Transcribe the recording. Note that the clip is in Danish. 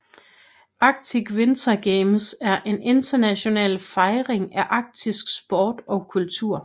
Arctic Winter Games er en international fejring af arktisk sport og kultur